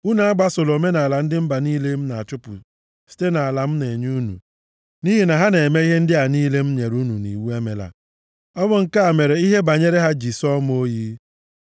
Unu agbasola omenaala ndị mba niile a m na-achụpụ site nʼala m na-enye unu, nʼihi na ha na-eme ihe ndị a niile m nyere unu nʼiwu emela. Ọ bụ nke a mere ihe banyere ha ji sọọ m oyi.